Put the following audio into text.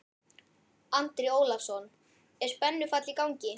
Andri Ólafsson: Er spennufall í gangi?